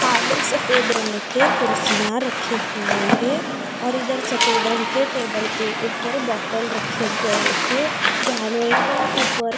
काले सफेद रंग के कुर्सियां रखे हुए हैं और इधर सफेद रंग के टेबल के ऊपर बॉटल रखे गए हैं जहाँ एक यहाँ ऊपर --